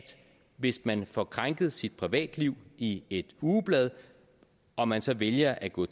hvis man får krænket sit privatliv i et ugeblad og man så vælger at gå